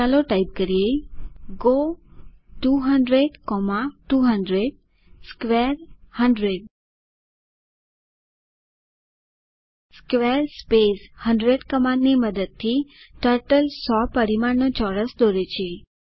ચાલો ટાઇપ કરીએ go 200200 square 100 square 100 કમાન્ડની મદદથી ટર્ટલ 100 પરિમાણનું ચોરસ દોરે છે